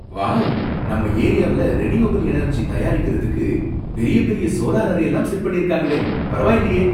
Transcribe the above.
Wow! நம்ம ஏரியாவுல renewable energy தயாரிக்கறதுக்கு பெரிய பெரிய சோலார் அரேலாம் செட் பண்ணிருக்காங்களே, பரவாயில்லயே!